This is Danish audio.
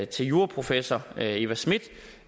til juraprofessor eva schmidt